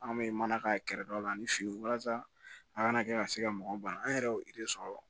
An bɛ mana ka kɛrɛ dɔ la ni fin walasa a kana kɛ ka se ka mɔgɔw ban an yɛrɛ y'o sɔrɔ